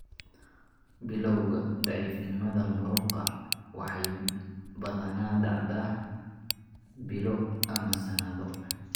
Bilawga daciifnimada muruqa waxay badanaa dhacdaa bilo ama sanado.